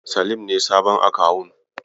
Salim ne sabon akawun.